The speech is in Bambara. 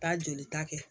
Taa jolita kɛ